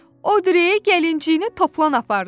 O, Dürdanə, gəlinciyini Toplan apardı.